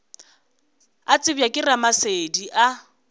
a tsebja ke ramasedi a